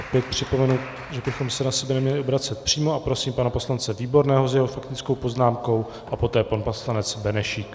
Opět připomenu, že bychom se na sebe neměli obracet přímo, a prosím pana poslance Výborného s jeho faktickou poznámkou a poté pan poslanec Benešík.